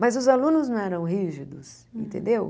Mas os alunos não eram rígidos, entendeu?